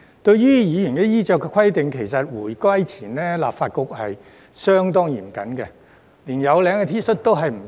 對於議員的衣着規定，其實回歸前立法局是相當嚴謹的，連有領 T 恤都不准穿着。